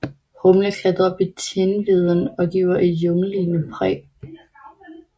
Humle klatrer op i tindveden og giver et junglelignende præg